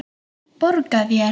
Borga þér?